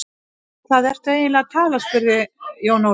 Um hvað ertu eiginlega að tala spurði Jón Ólafur.